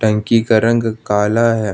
टंकी का रंग काला है।